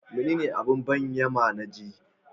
Menene abin banƙyama na ji?